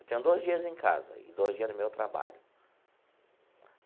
Eu tenho dois dias em casa e dois dias no meu trabalho.